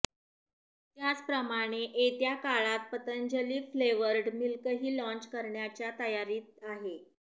त्याचप्रमाणे येत्या काळात पतंजली फ्लेवर्ड मिल्कही लॉंच करण्याच्या तयारीत आहे